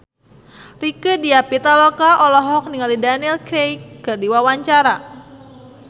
Rieke Diah Pitaloka olohok ningali Daniel Craig keur diwawancara